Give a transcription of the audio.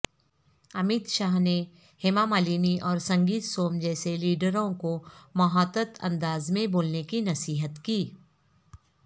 امت شاہ نے ہیما مالنی اورسنگیت سوم جیسے لیڈروں کومحتاط اندازمیں بولنےکی نصیحت کی